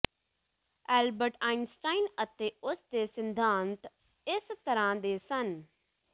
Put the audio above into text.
Albert Einstein ਅਤੇ ਉਸਦੇ ਸਿਧਾਂਤ ਇਸ ਤਰਾਂ ਦੇ ਸਨ